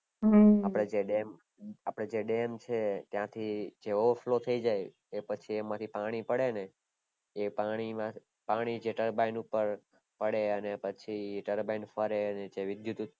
અપડે ત્યાં ડેમ છે ત્યાંથી overflow થય જાય એ પછી એમાંથી પાણી પડે ને એ પાણી જે turbine ઉપર પડે અને પછી turbine e ફરે ને જે વિદ્યુત ઉદ્પણ